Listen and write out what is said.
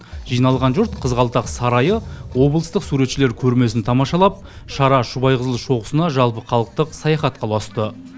жиналған жұрт қызғалдақ сарайы облыстық суретшілер көрмесін тамашалап шара шұбайқызыл шоқысына жалпыхалықтық саяхатқа ұласты